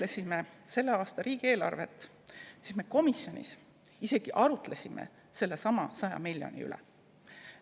Kui me selle aasta riigieelarvet menetlesime, siis me komisjonis isegi arutlesime sellesama 100 miljoni üle.